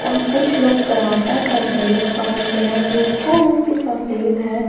और कुछ लोग कराटा का ड्रेस पहन के है जो इसका रंग के सफेद है